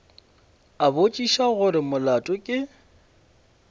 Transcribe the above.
a botšiša gore molato ke